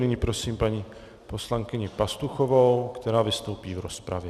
Nyní prosím paní poslankyni Pastuchovou, která vystoupí v rozpravě.